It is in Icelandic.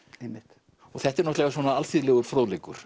einmitt þetta er náttúrulega svona alþýðlegur fróðleikur